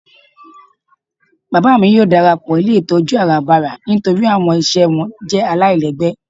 Bábá mi yóò darapọ ilé itọju àràbárà nítorí awọn iṣẹ wọn jẹ́ àláilègbé.